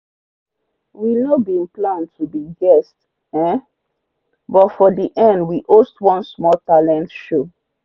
we no bin plan to be quest um but for the end we host one small talent show.